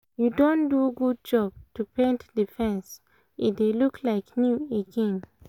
you don do good job to paint the the fence — e dey look like new again